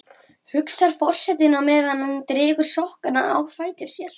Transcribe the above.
hugsar forsetinn á meðan hann dregur sokkana á fætur sér.